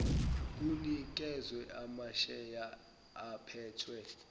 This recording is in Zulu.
kunikezwe amasheya aphethwe